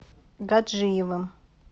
гаджиевым